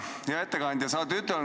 Hea ettekandja!